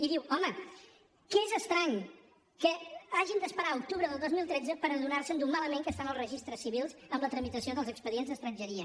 i diu home que és estrany que hagin d’esperar a octubre del dos mil tretze per adonar se de com estan de malament els registres civils amb la tramitació dels expedients d’estrangeria